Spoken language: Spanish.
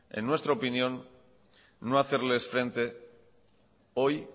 en nuestra opinión no hacerles frente hoy